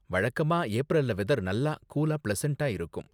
வழக்கமா, ஏப்ரல்ல வெதர் நல்லா கூலா, பிளசன்டா இருக்கும்.